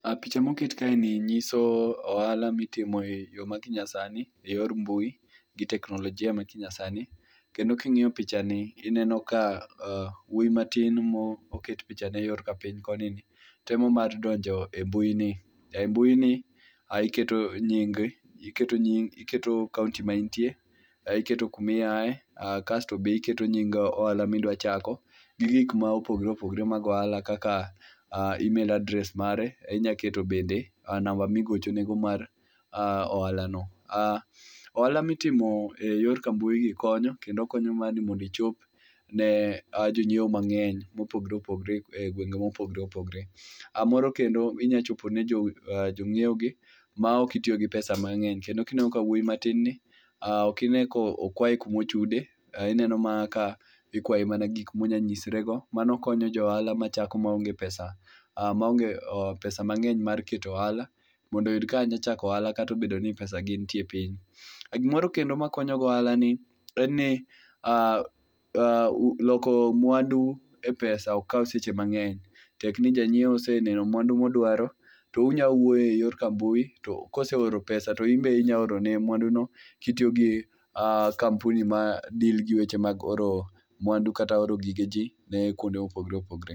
picha moket kaeni nyiso ohala mitimo eyo ma kinyasani, eyor mbui gi teknolojia ma kinyasani kendo king'iyo pichani ineno ka wuoyi matin moket pichane yor kapiny koni ni, temo mar donjo e mbui ni. Embuini ae iketo nyingi, iketo nying iketo kaonti ma intie kae iketo kuma iaye kaeto be iketo nying ohala ma idwa chako gi gik mopogore opogore mag ohala kaka email address mare inyalo keto bende namba migochonego mar ohalano. Ohala mitimo eyor ka mbui gi konyo kendo konyo mondo ichop ne jonyiewo mang'eny mopogore opogore egwenge mopogore opogore moro kendo inyalo chopo ne jonyiewogi maok itiyo gi pesa mang'eny kendo ineno wuoyi matin ni okwayo kuma ochude, ineno mana ka ikwaye mana gik ma onyalo nyisrego mano konyo jo ohala machako maonge pesa mang'eny mar keto e ohala mondo oyud kaka onyalo chako ohala kata obedo ni pesagi itie piny. Gimoro kendo mokonyogo ohala en ni loko mwandu e pesa ok kaw seche mang'eny, tek ni janyiewo oseneno mwandu ma odwaro to unyalo wuoyo eyor ka mbui ka oseoro mpesa to inbe inyalo orone mwandu no kitiyo gi kampuni ma deal gi weche mag oro mwandu kata oro gige ji kuond mopogore opogore.